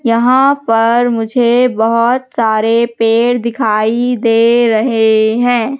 यहां पर मुझे बहोत सारे पेड़ दिखाई दे रहे हैं।